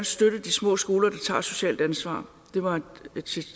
støtte de små skoler der tager et socialt ansvar det var et